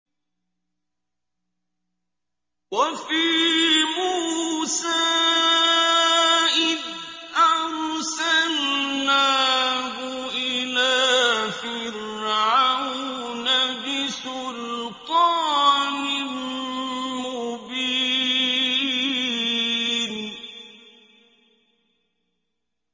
وَفِي مُوسَىٰ إِذْ أَرْسَلْنَاهُ إِلَىٰ فِرْعَوْنَ بِسُلْطَانٍ مُّبِينٍ